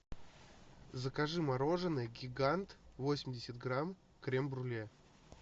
закажи мороженое гигант восемьдесят грамм крем брюле